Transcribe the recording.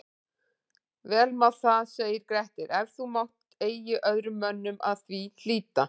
Vel má það segir Grettir, ef þú mátt eigi öðrum mönnum að því hlíta